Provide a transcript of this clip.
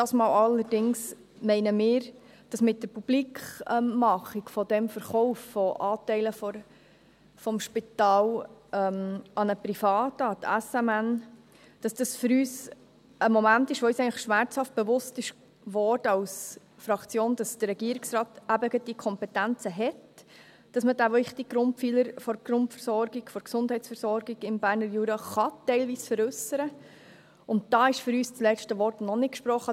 Dieses Mal allerdings meinen wir, dass mit der Publikmachung des Verkaufs von Anteilen des Spitals an einen Privaten – an die SMN –, es für uns ein Moment war, wo uns als Fraktion eigentlich schmerzhaft bewusst wurde, dass der Regierungsrat eben gerade die Kompetenzen hat, dass man diesen wichtigen Grundpfeiler der Gesundheitsversorgung im Berner Jura teilweise veräussern kann, und da ist für uns das letzte Wort noch nicht gesprochen.